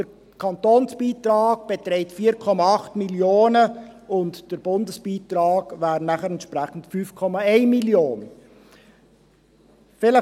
Der Kantonsbeitrag beträgt 4,8 Mio. Franken, und der Bundesbeitrag wäre entsprechend 5,1 Mio. Franken.